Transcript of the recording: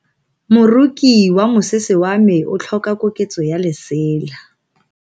Moroki wa mosese wa me o tlhoka koketso ya lesela.